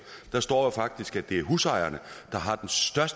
der står jo faktisk at det er husejerne